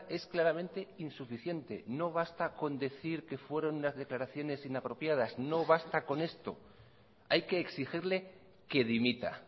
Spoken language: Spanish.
es claramente insuficiente no basta con decir que fueron unas declaraciones inapropiadas no basta con esto hay que exigirle que dimita